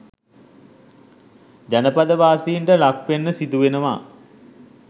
ජනපදවාසීන්ට ලක්වෙන්න සිදුවෙනවා